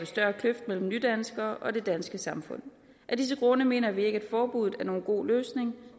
større kløft mellem nydanskere og det danske samfund af disse grunde mener vi ikke at forbuddet er nogen god løsning